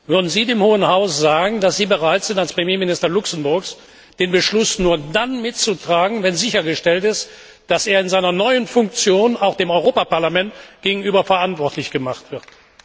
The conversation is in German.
würden Sie dem Hohen Hause sagen, dass Sie bereit sind, als Premierminister Luxemburgs den Beschluss nur dann mitzutragen, wenn sichergestellt ist, dass er in seiner neuen Funktion auch dem Europäischen Parlament gegenüber verantwortlich gemacht wird?